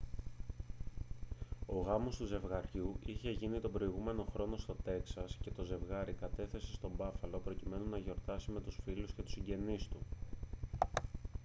ο γάμος του ζευγαριού είχε γίνει τον προηγούμενο χρόνο στο τέξας και το ζευγάρι κατέφθασε στο μπάφαλο προκειμένου να γιορτάσει με τους φίλους και τους συγγενείς του